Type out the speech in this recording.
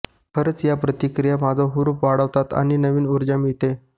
खरंच या प्रतिक्रिया माझा हुरूप वाढवतात आणि नवीन ऊर्जा मिळते